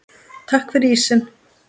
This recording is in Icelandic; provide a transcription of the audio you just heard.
Takk fyrir ísinn.